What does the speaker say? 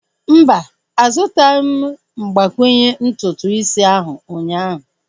Mba, azutaghim mgbakwunye ntutu isi ahu ụnyaahụ